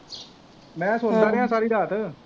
ਮੈਂ ਸੋਚਦਾ ਰੇਹਾ ਸਾਰੀ ਰਾਤ